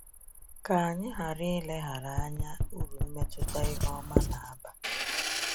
Ka anyị ghara ileghara anya uru mmetụta ihe ọma na-aba.